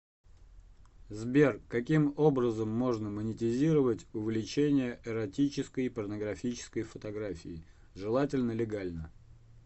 сбер каким образом можно монетизировать увлечение эротической и порнографической фотографией желательно легально